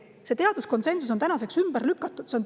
See teaduskonsensus on tänaseks ümber lükatud.